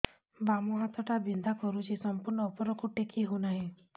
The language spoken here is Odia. ବାମ ହାତ ଟା ବିନ୍ଧା କରୁଛି ସମ୍ପୂର୍ଣ ଉପରକୁ ଟେକି ହୋଉନାହିଁ